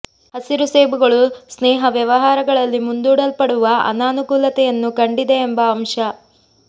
ಹಸಿರು ಸೇಬುಗಳು ಸ್ನೇಹ ವ್ಯವಹಾರಗಳಲ್ಲಿ ಮುಂದೂಡಲ್ಪಡುವ ಅನಾನುಕೂಲತೆಯನ್ನು ಕಂಡಿದೆ ಎಂಬ ಅಂಶ